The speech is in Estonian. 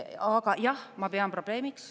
Aga jah, ma pean probleemiks.